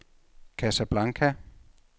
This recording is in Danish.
Casablanca